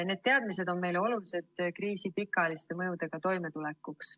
Need teadmised on meile olulised kriisi pikaajaliste mõjudega toimetulekuks.